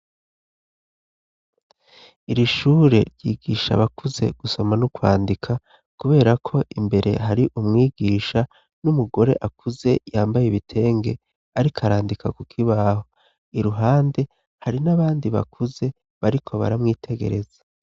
Iri shure ryigisha abakuze gusoma no kwandika kubera ko imbere hari umwigisha n'umugore akuze yambaye ibitenge ariko arandika kukibaho iruhande hari n'abandi bakuze bariko baramwitegereza.